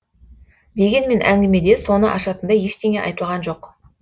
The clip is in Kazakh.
дегенмен әңгімеде соны ашатындай ештеңе айтылған жоқ